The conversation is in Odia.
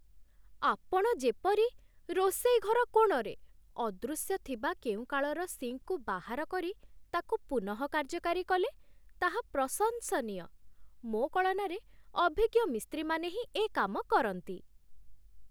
ଆପଣ ଯେପରି ରୋଷେଇଘର କୋଣରେ ଅଦୃଶ୍ୟ ଥିବା କେଉଁ କାଳର ସିଙ୍କ୍‌କୁ ବାହାର କରି ତାକୁ ପୁନଃକାର୍ଯ୍ୟକାରୀ କଲେ, ତାହା ପ୍ରଶଂସନୀୟ। ମୋ କଳନାରେ ଅଭିଜ୍ଞ ମିସ୍ତ୍ରୀମାନେ ହିଁ ଏ କାମ କରନ୍ତି।